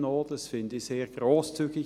Dies finde ich sehr grosszügig.